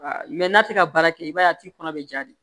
n'a tɛ ka baara kɛ i b'a ye a t'i kɔnɔ bɛ ja de